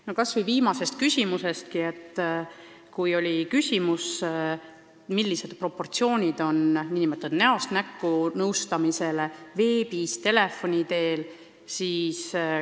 No kas või viimane küsimus: küsiti proportsioonide kohta, kui palju on nn näost näkku nõustamist, kui palju veebis ja kui palju telefoni teel.